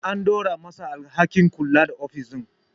An dora ma sa alhakin kula da ofis din